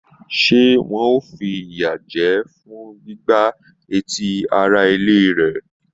Se wọn o f'iya jẹ fún gbígbà etí ará ilé rẹ?